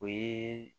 O ye